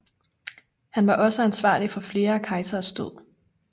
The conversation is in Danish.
Han var også ansvarlig for flere kejseres død